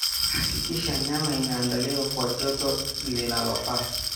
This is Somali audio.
Hakikisha nyama inaandaliwa kwa joto linalofaa.